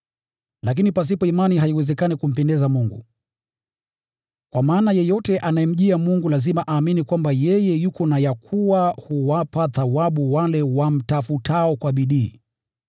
Lakini pasipo imani haiwezekani kumpendeza Mungu, kwa maana yeyote anayemjia Mungu lazima aamini kwamba yeye yuko na ya kuwa huwapa thawabu wale wamtafutao kwa bidii.